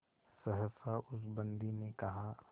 सहसा उस बंदी ने कहा